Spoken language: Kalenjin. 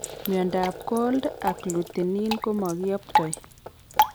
Myondab Cold agglutinin ko mokiyoptoi